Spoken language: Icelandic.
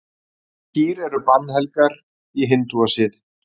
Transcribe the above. Kýr eru bannhelgar í hindúasið.